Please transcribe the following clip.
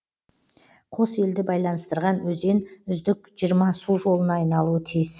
қос елді байланыстырған өзен үздік жиырма су жолына айналуы тиіс